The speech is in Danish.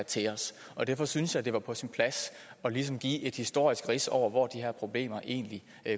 til os derfor synes jeg det var på sin plads ligesom at give et historisk rids over hvor de her problemer egentlig